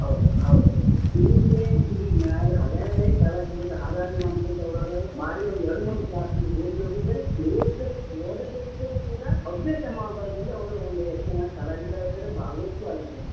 ಹೌದು ಹೌದು ಹೌದು. ಹಲವೇರಿ ಕಲಾವಿದರಿಂದ ಹಾರಾದಿ ಮನೆತನದವರು ಆದರಲ್ಲ ಬಾರಿ ಒಂದು ಎರಡು ಮೂರು class ಓದ್ದವ್ರು ಇದ್ದಾರೆ ಓದ್ದೇ , ಓದದೆ ಇದ್ದವರು ಕೂಡ ಅಭ್ಯಾಸ ಮ ಬಲದಿಂದ ಅವರ ಒಂದು ಯಕ್ಷಗಾನ ಕಲಾವಿದರಾಗಿದ್ದಾರೆ, ಭಾಗವತರೂ ಆಗಿದ್ರಂತೆ.